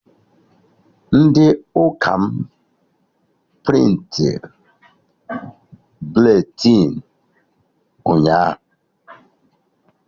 Ndị ụka m prịntịrị buletịn ụnyaahụ